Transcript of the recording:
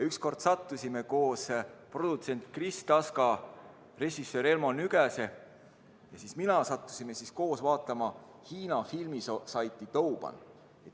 Ükskord sattusime mina, produtsent Kris Taska ja režissöör Elmo Nüganen koos vaatama Hiina filmisaiti Douban.